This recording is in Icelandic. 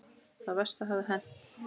Það versta hafði hent.